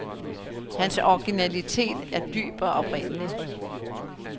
Hans originalitet er dyb og oprindelig.